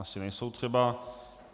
Asi nejsou třeba.